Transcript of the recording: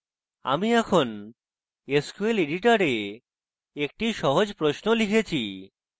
আমি এখন sql editor একটি সহজ প্রশ্ন লিখেছি